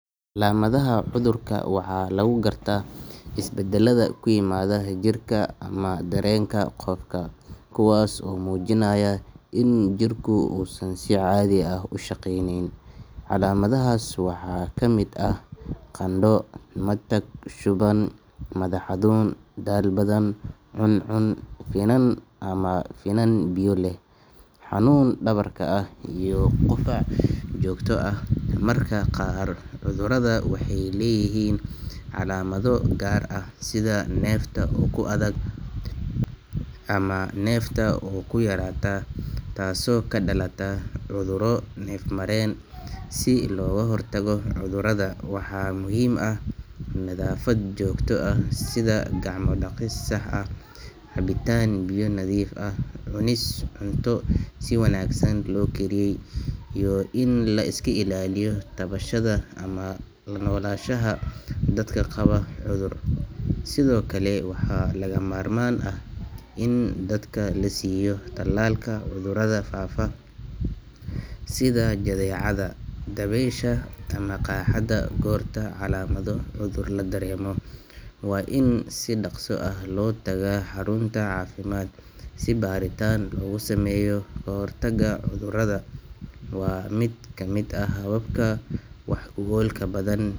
Calamathaha cuthurka waxa lagugarta isbadalada kuimada jirka ama darenka qofka . Kuwas oo mujinayoo in jirku unsan sicadia uushaqeyneynin. Calamathahas waxa kamid aah qando, matag, shuban, mathax xanun, daal badhan cancun finan ama finan biyo leeh xanun dawarka ah iyo qufac joogto ah marka qaar cuthurada waxay leeyihin calaamado gaarah sidah neeftah oo kuathag ama nefta oo kuyaratah taasoo kadalatah cuthuro neef maren. Sii logahortago cuthurada waxa muhim aah nathafad joogto aah sida gacma daqis sax aah , cabitan biyo nathif aah, cunis cunta siwanagsan lookariyey iyo in liska ilaliyo tawashada ama lanolashada dadka qawo cuthur . Sidookale waxalagamarman aah in dadka lasiiyo talal kah cuthuratha fafah sidah jatheecadah daweesha kamaqaxadagorta calamadaha cuthur ladaretaan loogusameeyoh kahortaga cuthurada waa mid kamid aah hababka wax ogolka badan.